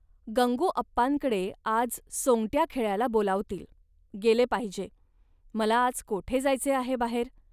गंगूअप्पांकडे आज सोंगट्या खेळायला बोलावतील, गेले पाहिजे. मला आज कोठे जायचे आहे बाहेर